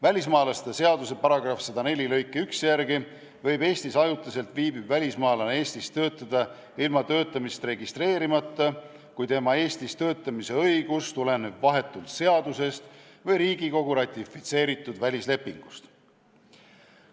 Välismaalaste seaduse § 104 lõike 1 järgi võib Eestis ajutiselt viibiv välismaalane Eestis töötada ilma töötamist registreerimata, kui tema Eestis töötamise õigus tuleneb vahetult seadusest või Riigikogu ratifitseeritud välislepingust.